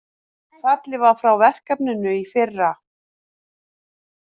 Fallið var frá verkefninu í fyrra